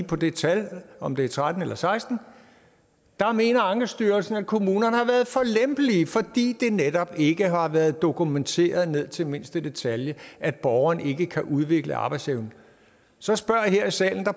på det tal altså om det er tretten eller seksten mener ankestyrelsen at kommunerne har været for lempelige fordi det netop ikke har været dokumenteret ned til mindste detalje at borgerne ikke kan udvikle arbejdsevnen så spørger jeg her i salen og